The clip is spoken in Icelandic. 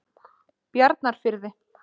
Bjarnarfirði